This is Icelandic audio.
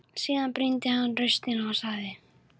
Síðan brýndi hann raustina og sagði